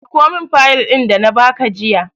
Dauko min fayil ɗin da na ba ka jiya!